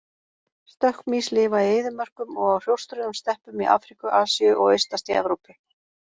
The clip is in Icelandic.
Stökkmýs lifa í eyðimörkum og á hrjóstrugum steppum í Afríku, Asíu og austast í Evrópu.